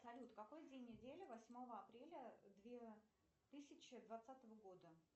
салют какой день недели восьмого апреля две тысячи двадцатого года